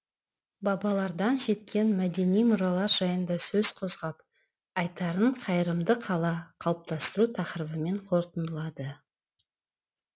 бабалардан жеткен мәдени мұралар жайында сөз қозғап айтарын қайырымды қала қалыптастыру тақырыбымен қорытындылады